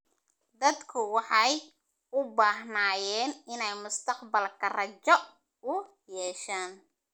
Dadku waxay u baahnaayeen inay mustaqbalka rajo u yeeshaan.